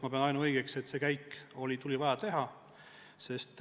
Ma pean seda ainuõigeks – see käik oli vaja teha.